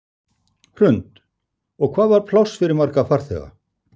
Hrund: Og hvað var pláss fyrir marga farþega?